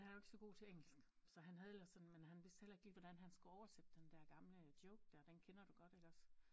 Han er jo ikke så godt til engelsk så han havde ellers sådan men han vidste heller ikke lige hvordan han skulle oversætte den der gamle joke der den kender du godt iggås?